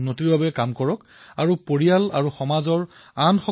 ডেৰশ বৰ্ষ পূৰ্বে আধুনিক হিন্দীৰ জনক ভাৰতেন্দু হৰিশ্চন্দ্ৰ মহোদয়েও কৈছিলঃ